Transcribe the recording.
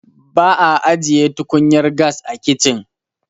ba a ajiye tukunyar gas a kicin